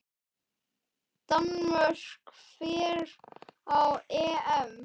Danmörk fer á EM.